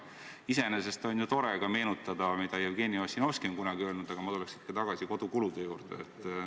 Iseenesest on ju tore meenutada, mida Jevgeni Ossinovski on kunagi öelnud, aga ma tuleks ikka tagasi kodukulude juurde.